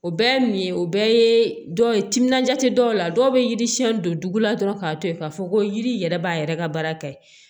O bɛɛ ye min ye o bɛɛ ye dɔw ye timinanja tɛ dɔw la dɔw bɛ yiri siɲɛn don dugu la dɔrɔn k'a to yen k'a fɔ ko yiri yɛrɛ b'a yɛrɛ ka baara kɛ